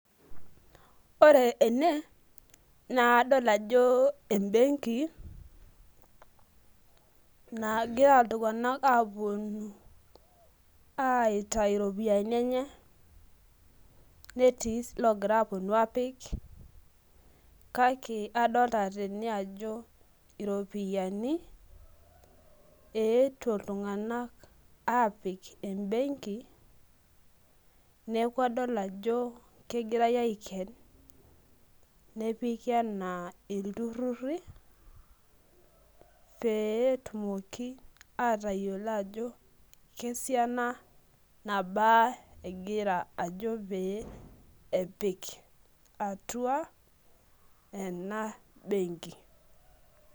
ore ene naa kadol jo e benki nagira iltunganak aapuonu aitayu iropiyiani enye, netii ilogira apuonu aaapik, kake adoolta tene ajo iropiyiani eetuo iltungank aapik, e benki. neeku adol ajo kegirae aiken, nepiki anaa iltururi. peetumoki aatayiolo ajo kesiana nabaa egira ajo pee epik atua, ena benki.